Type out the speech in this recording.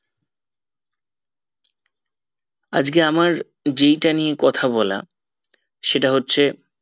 আজকে আমার যেইটা নিতে কথা বলা সেটা হচ্ছে